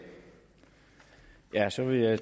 er stillet af